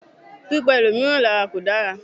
Pípa ẹlòmíràn lárà kò dára.